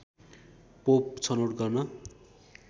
pope छनौट गर्न